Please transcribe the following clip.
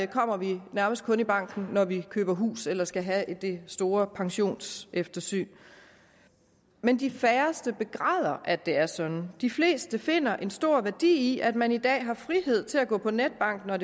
kommer vi nærmest kun i banken når vi køber hus eller skal have det store pensionseftersyn men de færreste begræder at det er sådan de fleste finder en stor værdi i at man i dag har frihed til at gå på netbank når og